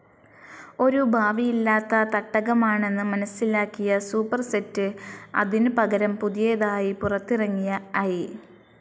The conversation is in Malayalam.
ഒരു ഭാവിയില്ലാത്ത തട്ടകമാണെന്ന് മനസ്സിലാക്കിയ സൂപ്പർസെറ്റ്, അതിനു പകരം പുതിയതായി പുറത്തിറങ്ങിയ ഐ.